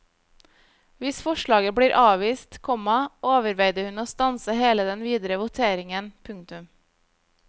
Hvis forslaget blir avvist, komma overveide hun å stanse hele den videre voteringen. punktum